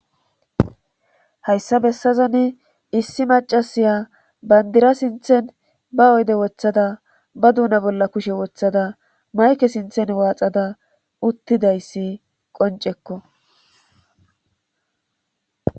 Hayssa bessazani issi macasiya bandira sinthen ba oyde wothada ba duuna bolla kushe wothada mayke sinthen waaxada uttidayssi qoncekko